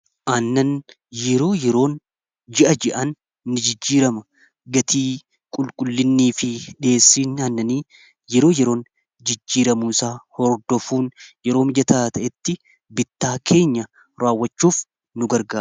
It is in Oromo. aannan yeroo yeroon ji'a-ji'an ni jijjiirama gatii qulqullinnii fi dhiheessiin annanii yeroo yeroon jijjiiramuu isaa hordofuun yeroo mijataa ta'etti bittaa keenya raawwachuuf nu garga